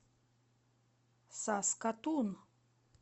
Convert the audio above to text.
саскатун